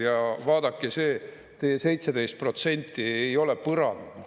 Ja vaadake, teie 17% ei ole põrand.